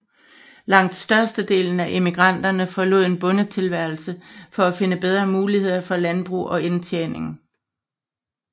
Langt størstedelen af emigranterne forlod en bondetilværelse for at finde bedre muligheder for landbrug og indtjening